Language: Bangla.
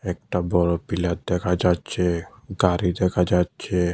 একটা বড় পিলার দেখা যাচ্ছে গাড়ি দেখা যাচ্ছে।